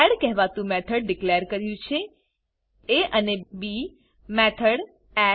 કેહવાતું method declare કર્યું છેab method add